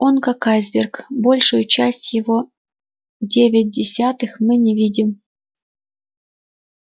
он как айсберг большую часть его девять десятых мы не видим